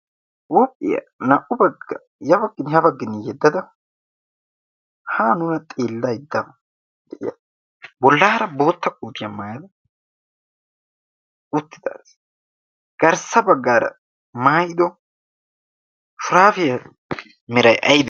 huuphphiyaa naa77u baggaa yabaggini habaggini yeddada ha nuna xillaidda de7iya bollaara bootta kuuciyaa maayada uttidaas garssa baggaara maayido shuraafiyaa mirai aybee?